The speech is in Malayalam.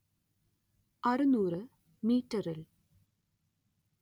അറുനൂറ് മീറ്ററിൽ